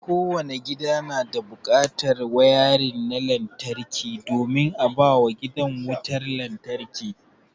Kowanne gida yana buƙatar wayarin na lantarki domin a bawa gidan wutar lantarki.